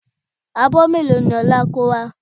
Abọ́ mélòó ni Ọlá kó wá?